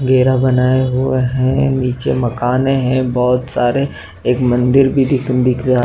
घेरा बनाया हुआ है। नीचे मकान है। बोहोत सारे एक मंदिर भी दिख रहा--